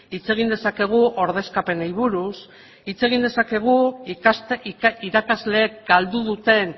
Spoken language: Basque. hitz egin dezakegu ordezkapenei buruz hitz egin dezakegu irakasleek galdu duten